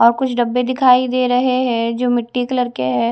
और कुछ डब्बे दिखाई दे रहे हैं जो मिट्टी कलर के है।